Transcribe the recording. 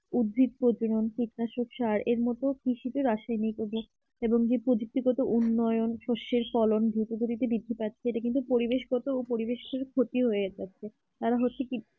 উদ্ভিদ প্রচলন কীটনাশক সার এর মতো কৃষি রাসায়নিক সার এবং যে প্রযুক্তি গত উন্নয়ন সর্ষের ফলন ধীর গতিতে দ্রুত গতিতে বৃদ্ধি পাচ্ছে এটা কিন্তু পরিবেশ গত পরিবেশের ক্ষতি হয়ে যাচ্ছে কারণ হচ্ছে কি